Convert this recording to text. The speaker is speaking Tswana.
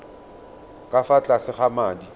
ka fa tlase ga madi